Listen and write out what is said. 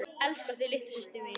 Elska þig litla systir mín.